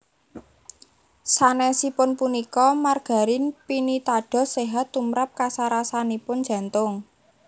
Sanèsipun punika margarin pinitados séhat tumrap kasarasanipun jantung